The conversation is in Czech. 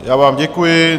Já vám děkuji.